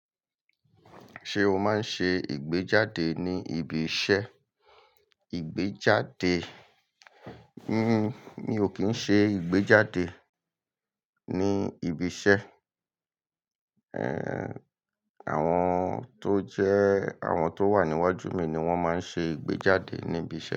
Ṣé o máa ń ṣe ìgbéjáde ní ibi iṣẹ́? Ìgbéjáde, mi ò kí ń ṣe ìgbéjáde ní ibi iṣẹ́. Àwọn tó jẹ́, àwọn tó wà níwájú mi ni wọ́n máa ń ṣe ìgbéjáde ní ibi iṣẹ́